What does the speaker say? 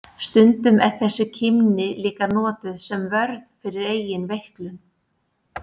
Stundum er þessi kímni líka notuð sem vörn fyrir eigin veiklun.